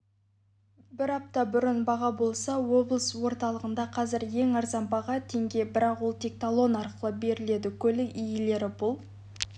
бір апта бұрын баға болса облыс орталығында қазір ең арзан баға теңге бірақ ол тек талон арқылы беріледі көлік иелері бұл